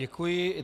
Děkuji.